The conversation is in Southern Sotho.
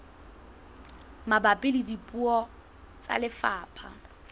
mabapi le puo tsa lefapha